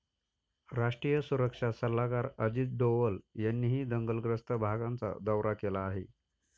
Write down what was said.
राष्ट्रीय सुरक्षा सल्लागार अजित डोवल यांनीही दंगलग्रस्त भागांचा दौरा केला आहे.